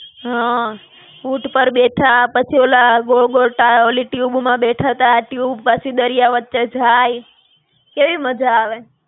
હાં, ઊંટ પર બેઠા પછી ઓલા ગોળ-ગોળ ઓલી tube માં બેઠા હતા tube પાછી દરિયા વચ્ચે જાય, કેવી મજા આવે.